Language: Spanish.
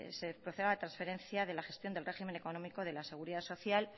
se proceda la transferencia de la gestión del régimen económico de la seguridad social